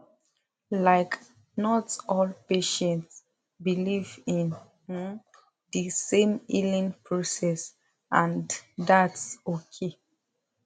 like not all patients believe in um the same healing process and thats okay